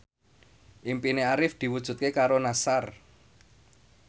impine Arif diwujudke karo Nassar